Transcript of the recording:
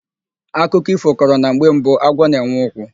Akụkọ ífò kọrọ na mgbe mbụ agwọ na-enwe ụkwụ.